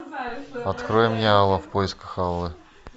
открой мне алла в поисках аллы